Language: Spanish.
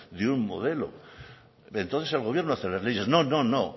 de un modelo entonces el gobierno hace las leyes no no